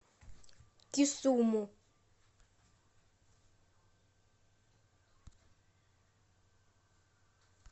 кисуму